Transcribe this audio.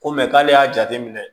Ko mɛ k'ale y'a jate minɛ